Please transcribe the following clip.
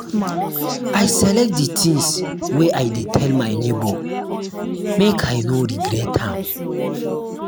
i select di tins wey i dey tell my nebor make i no regret am.